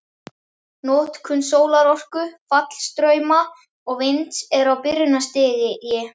Notkun sólarorku, fallstrauma og vinds er á byrjunarstigi.